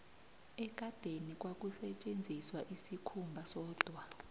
ekadeni kwakusetjenziswa isikhumba sodwa